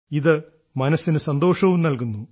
ഇത് മനസ്സിന് സന്തോഷവും നൽകുന്നു